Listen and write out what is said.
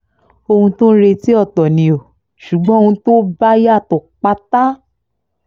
ohun tó ń retí ọ̀tọ̀ ni ò ṣùgbọ́n ohun tó bá yàtọ̀ pátá